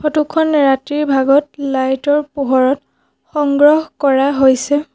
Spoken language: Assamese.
ফটোখন ৰাতিৰ ভাগত লাইটৰ পোহৰত সংগ্ৰহ কৰা হৈছে।